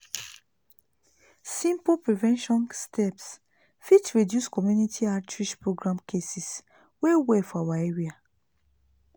simple prevention steps fit reduce community outreach programs cases well well for our area.